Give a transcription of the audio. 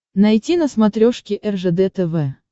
найти на смотрешке ржд тв